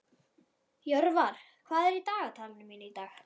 Jörvar, hvað er í dagatalinu mínu í dag?